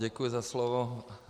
Děkuji za slovo.